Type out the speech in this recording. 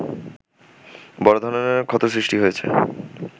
বড় ধরনের ক্ষত সৃষ্টি হয়েছে